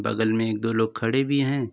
बगल में एक दो लोग खड़े भी हैं।